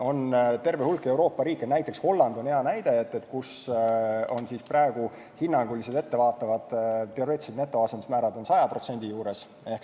On terve hulk Euroopa riike, näiteks Holland on hea näide, kus praegu on hinnangulised ettevaatavad teoreetilised netoasendusmäärad 100% juures.